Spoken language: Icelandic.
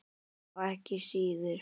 Já, ekki síður.